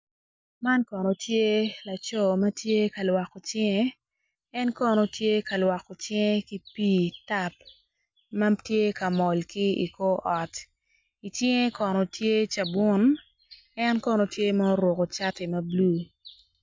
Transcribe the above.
Man kono tye laco matye ka lwoko cinge en kono tye ka lwoko cinge ki pi tap ma tye ka mol ki i kor ot i cinge kono tye cabun en kono tye ma oruko cati ma blue.